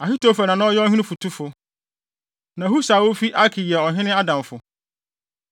Ahitofel na na ɔyɛ ɔhene fotufo. Na Husai a ofi Arki yɛ ɔhene adamfo.